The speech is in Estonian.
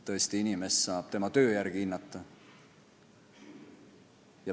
Tõesti, inimest saab hinnata tema töö järgi.